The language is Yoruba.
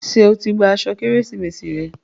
Ṣé o ti gba igi Kérésìmesì rẹ?